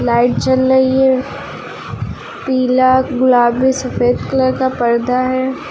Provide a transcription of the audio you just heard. Light जल रही है पीला गुलाबी सफेद कलर का पर्दा है।